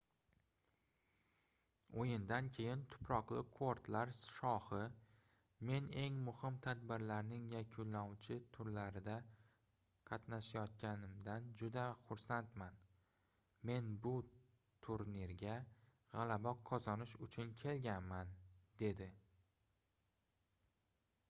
oʻyindan keyin tuproqli kortlar shohi men eng muhim tadbirlarning yakunlovchi turlarida qatnashayotganimdan juda xursandman men bu turnirga gʻalaba qozonish uchun kelganman dedi